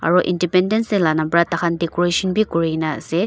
aro independence day la nam pra takhan decoration bi kurinaase.